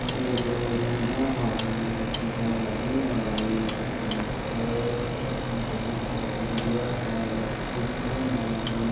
एगो नूना हई एगो एक्टिवा गाड़ी हई सेंटर बैंक ऑफ़ इंडिया हई ए_टी_एम हई।